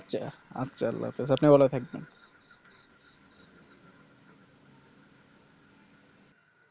আচ্ছা আচ্ছা আল্লাহ হাফেজ আপনিও ভালো থাকবেন